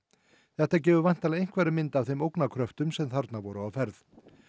þetta gefur væntanlega einhverja mynd af þeim ógnarkröftum sem þarna voru á ferð